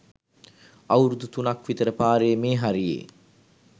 අවුරුදු තුනක් විතර පාරේ මේ හරියේ